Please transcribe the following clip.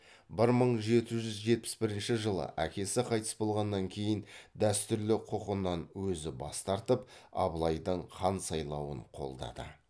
бір мың жеті жүз жетпіс бірінші жылы әкесі қайтыс болғаннан кейін дәстүрлі құқынан өзі бас тартып абылайдың хан сайлануын қолдады